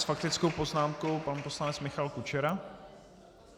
S faktickou poznámkou pan poslanec Michal Kučera.